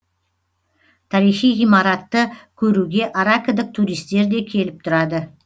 тарихи ғимаратты көруге аракідік туристер де келіп тұрады